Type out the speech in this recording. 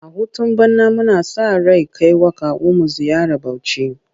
A hutun bana muna sa ran kai wa kawunmu ziyara Bauchi.